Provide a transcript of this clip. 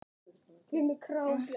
Þinn sonur, Óskar.